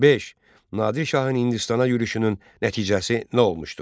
Beş: Nadir şahın Hindistana yürüşünün nəticəsi nə olmuşdur?